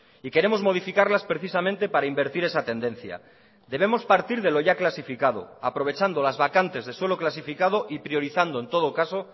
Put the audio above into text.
y queremos modificarlas precisamente para invertir esa tendencia debemos partir de lo ya clasificado aprovechando las vacantes de suelo clasificado y priorizando en todo caso